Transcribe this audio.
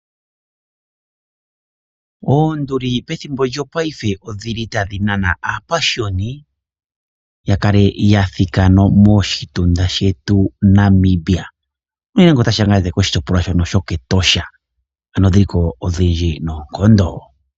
Oonduli pethimbo lyopaife odhili tadhi nana aapashiyoni, ya kale ya thika nomoshitunda shetu Namibia. Unene ngele ota shiya koshitopowa shono shokEtosha, ano odhili ko odhindji noonkondo.